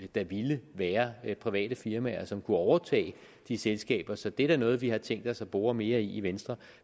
der ville være private firmaer som kunne overtage de selskaber så det er da noget vi har tænkt os at bore mere i venstre